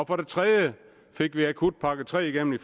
for det tredje fik vi akutpakke tre igennem i